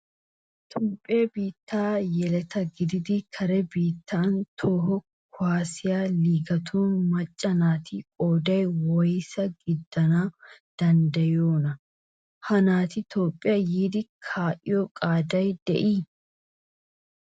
Toophphiya biittaa yeleta gididi kare biittaa toho kuwaasiya liigetun macca naati qoodan woysaa gidana danddayiyoonaa? Ha naati Toophphiya yiidi kaa'iyo qaaday de'ii?